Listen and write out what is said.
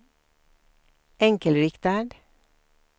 enkelriktad